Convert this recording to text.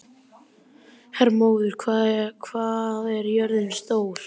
Hermóður, hvað er jörðin stór?